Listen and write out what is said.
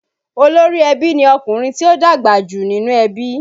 Olórí ẹbí ni ọkùnrin tí ó dàgbà jù nínú ẹbí